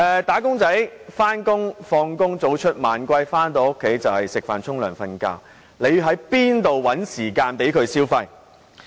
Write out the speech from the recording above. "打工仔"上班然後下班，早出晚歸，回家後只是吃飯、洗澡、睡覺，又怎會有時間消費？